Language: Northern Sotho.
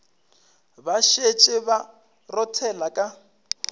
ba šetše ba rothela ka